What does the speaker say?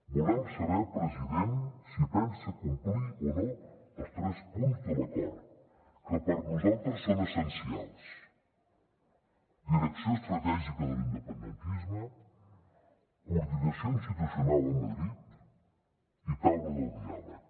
volem saber president si pensa complir o no els tres punts de l’acord que per nosaltres són essencials direcció estratègica de l’independentisme coordinació institucional a madrid i taula del diàleg